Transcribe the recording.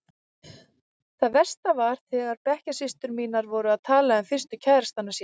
Það versta var þegar bekkjarsystur mínar voru að tala um fyrstu kærastana sína.